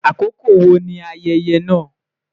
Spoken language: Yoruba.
Akoko wo ni ayẹyẹ naa?